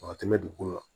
A ka tɛmɛ dugu kan